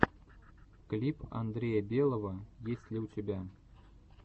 клип андрея белого есть ли у тебя